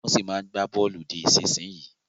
Wọ́n ṣì máa ń gba bọ̀ọ̀lù di ìsinsìnyí